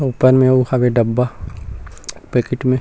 अऊ ऊपर में अऊ हवे डब्बा पैकेट में--